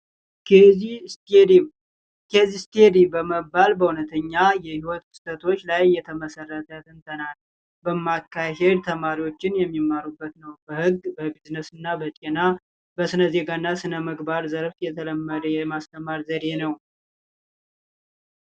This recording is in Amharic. ኬዝስተዲ፡ ኬዝስተዲ በመባል በእውነተኛ የህይወት ክስተቶች ላይ የተመሰረተ ትምህርት በማካሄድ ተማሪዎች የሚማሩበት በጤና ህብረተሰብ በስነዜጋና በስነ ምግባር ዘርፍ የተለመደ የማስተማር ዘዴ ነው።